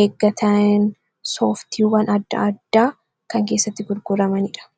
eeggatan sooftiiwwan adda addaa kan keessatti gurguramaniidha